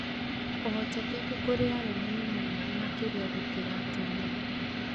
ũhotekeku kũrĩ arũme nĩ mũnene makĩria gũkĩra atumia